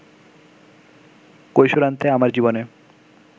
কৈশোরান্তে আমার জীবনে